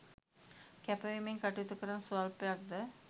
කැපවීමෙන් කටයුතු කරන ස්වල්පයක් ද